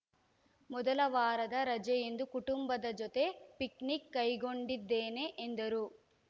ಮೊದಲ ವಾರದ ರಜೆಯಂದು ಕುಟುಂಬದ ಜತೆ ಪಿಕ್‌ನಿಕ್‌ ಕೈಗೊಂಡಿದ್ದೇನೆ ಎಂದರು